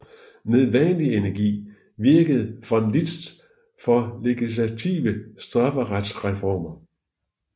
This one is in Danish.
Med vanlig energi virkede von Liszt for legislative strafferetsreformer